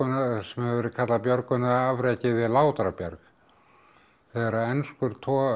sem hefur verið kallað björgunarafrekið við Látrabjarg þegar enskur togari